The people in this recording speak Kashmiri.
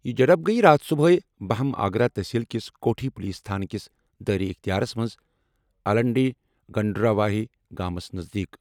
یہِ جھڑپ گٔیہِ راتھ صُبحٲے بہم آگرہ تحصیل کِس کوٹھی پُلیٖس تھانہ کِس دائرہ اختیارس منٛز الڈنڈی، گنڈراواہی گامس نزدیٖک۔